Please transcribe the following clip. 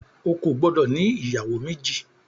O kò gbọdọ̀ ní ìyàwó méjì.